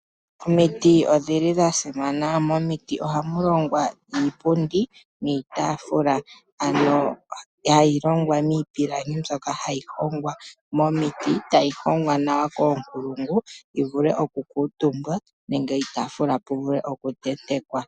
Omiiti odhili dhasimana ,momiti ohamulongwa iipundi niitafula ano hayi longwa niipilangi mbyoka hayi hongwa momiiti e ta yi hongwa nawa koonkulungu opo yiivule okukutumbwa nenge iitafula puvule okutentekwa.